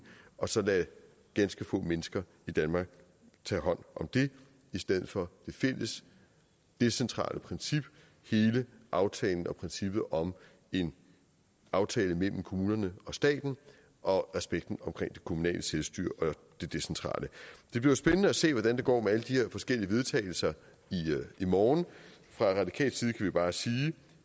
og så lade ganske få mennesker tage hånd om det i stedet for det fælles decentrale princip hele aftalen og princippet om en aftale mellem kommunerne og staten og respekten omkring det kommunale selvstyre og det decentrale det bliver spændende at se hvordan det går med alle de her forskellige vedtagelser i morgen fra radikal side kan vi bare sige at